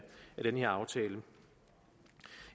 den her aftale